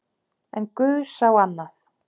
En guð sá annað.